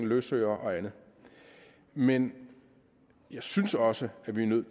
løsøre og andet men jeg synes også at vi er nødt